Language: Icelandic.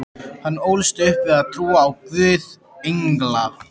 Hann ólst upp við að trúa á Guð, engla